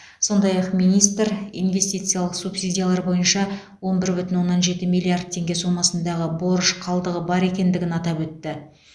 сондай ақ министр инвестициялық субсидиялар бойынша он бір бүтін оннан жеті миллиард теңге сомасындағы борыш қалдығы бар екендігін атап өтті